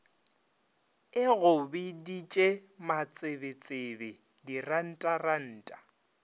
e go biditše matsebetsebe dirantaranta